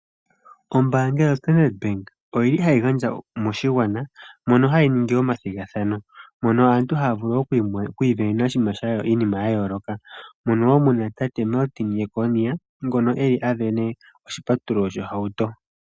Ombaanga yoStandrd bank oyili hayi gandja moshigwana mono hayi ningi omathigathano mono aantu haa vulu okwiisindanena iinima ya yooloka moka wo muna tate Martin Jeckonia ngoka wo eli asindana oshipatululo shohauto.